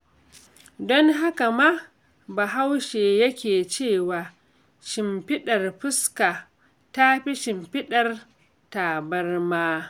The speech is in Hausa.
Don haka ma Bahaushe yake cewa, shimfiɗar fuska ta fi shimfiɗar tabarma.